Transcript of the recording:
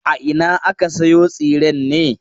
A ina aka sayo tsiren ne?